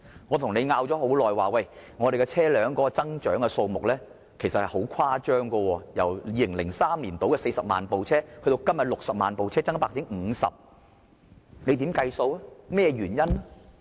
我跟政府爭拗了很長時間，車輛的數目由2003年大約40萬輛，增至今天的60萬輛，增加差不多 50%， 增幅十分誇張。